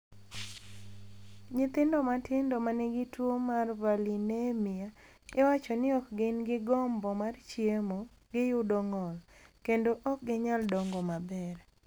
"Nyithindo matindo ma nigi tuwo mar valinemia iwacho ni ok gin gi gombo mar chiemo, giyudo ng’ol, kendo ok ginyal dongo maber."